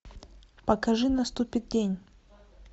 покажи наступит день